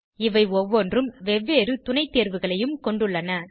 இவை ஒவ்வொன்றும் வெவ்வேறு துணை தேர்வுகளையும் கொண்டுள்ளன